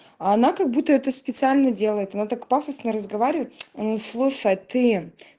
а она как будто это специально делает она так пафосно разговаривает он слушает ты